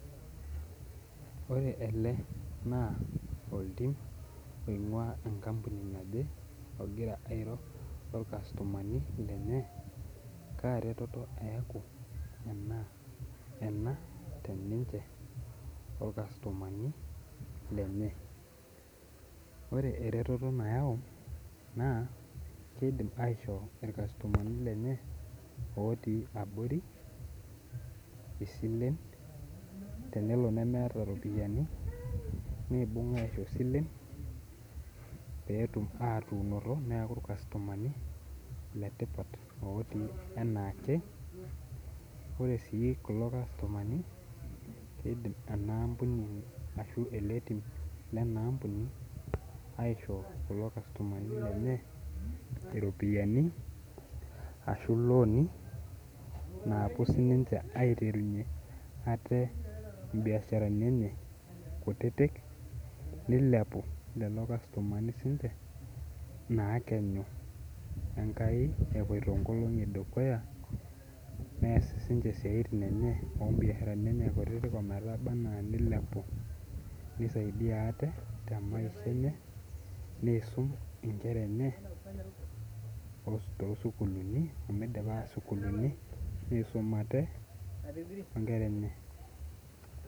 ore ele naa oltim oing'uaa enkampuninaje ogira airo orkastomani lenyee kaa reteto eeku ena teninche orkastomani lenye , ore ereteto nayau naa keidim aisho ilkastomani lenye otii abori isilen tenelo nemeeta ropiyiani neibung aisho isilen pee etum atuunoto neeku ilkastomani le tipat otii enaake ore sii kulo kastomani keidim keidim enaa ampuni ashuu ele tim lenaa ampuni aisho kulo kastomani lenye ropiyiani aashu ilooni naapuo sininche aiterunye atee imbiasharani enye kutitik neilepu lelo kastomani sinche naa ekenyu enkai epoito inkolongi dukuya nees sinche isiaitin enyee oo mbiasharani enyenye kutitik ometaba anaa neilepu neisaidia atee temaisha enye neisum inkera enye too sukulini omeidipa sukuulini neisum aate onkera enye...